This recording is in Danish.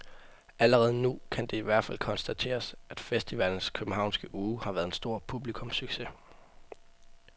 Allerede nu kan det i hvert fald konstateres, at festivalens københavnske uge har været en stor publikumssucces.